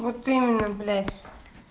вот именно блять